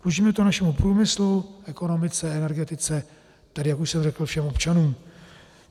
Dlužíme to našemu průmyslu, ekonomice, energetice, tedy jak už jsem řekl, všem občanům.